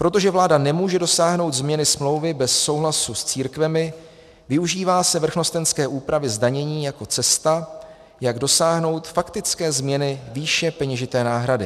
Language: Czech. Protože vláda nemůže dosáhnout změny smlouvy bez souhlasu s církvemi, využívá se vrchnostenské úpravy zdanění jako cesta, jak dosáhnout faktické změny výše peněžité náhrady.